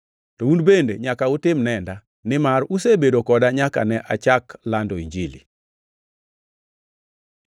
To un bende nyaka utim nenda, nimar usebedo koda nyaka ne achak lando Injilini.